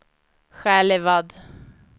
Själevad